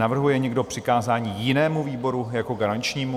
Navrhuje někdo přikázání jinému výboru jako garančnímu?